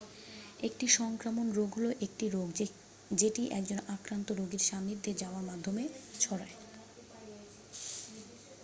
একটি সংক্রামক রোগ হলো একটি রোগ যেটি একজন আক্রান্ত রোগীর সান্নিধ্যে যাওয়ার মাধ্যমে ছড়ায়